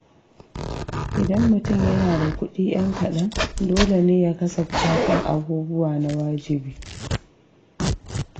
Idan mutum yana da kuɗi 'yan kaɗan, dole ne ya kasafta kan abubuwa na wajibi.